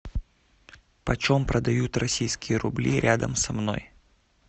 почем продают российские рубли рядом со мной